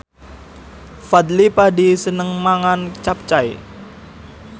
Fadly Padi seneng mangan capcay